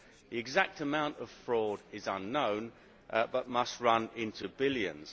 The exact amount of fraud is unknown but must run into the billions.